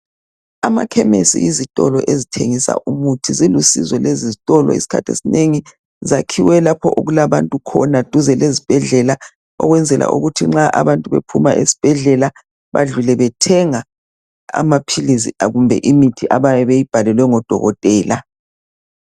Amakhemesi yizitolo ezithengisa umuthi, zilusizo lezi zitolo isikhathi esinengi zakhiwe lapho okulabantu khona duze lezibhedlela ukwenzela ukuthi nxa abantu bephuma ezibhedlela bedlule bethenga iamaphilizi kumbe imithi abayabe beyibhalelwe ngodokotela.